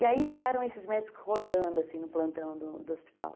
E aí ficaram esses médicos rodando assim no plantão do hospital.